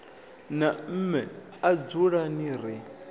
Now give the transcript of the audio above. na mme a dzulani ri